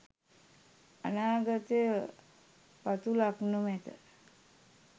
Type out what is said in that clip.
අනාගතය පතුලක් නොමැති